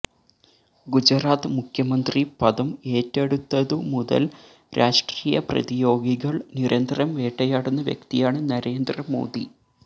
ഗുജറാത്ത് മുഖ്യമന്ത്രി പദം ഏറ്റെടുത്തതു മുതല് രാഷ്ട്രീയ പ്രതിയോഗികള് നിരന്തരം വേട്ടയാടുന്ന വ്യക്തിയാണ് നരേന്ദ്രമോദി